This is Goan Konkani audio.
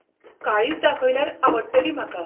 काळीच दाखयल्यार आवडटली म्हाका.